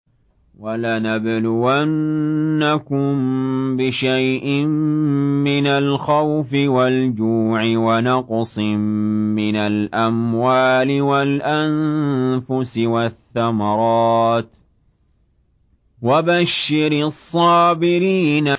وَلَنَبْلُوَنَّكُم بِشَيْءٍ مِّنَ الْخَوْفِ وَالْجُوعِ وَنَقْصٍ مِّنَ الْأَمْوَالِ وَالْأَنفُسِ وَالثَّمَرَاتِ ۗ وَبَشِّرِ الصَّابِرِينَ